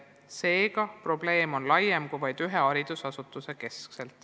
Seega, probleem on laiem kui vaid ühe haridusasutuse mure.